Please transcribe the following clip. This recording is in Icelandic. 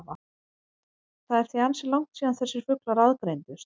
Það er því ansi langt síðan þessir fuglar aðgreindust.